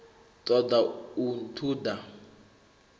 ṱo ḓa u ṱun ḓa